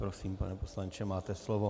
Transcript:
Prosím, pane poslanče, máte slovo.